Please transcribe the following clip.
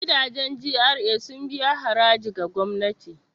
Gidajen GRA sun biya haraji ga gwamnati.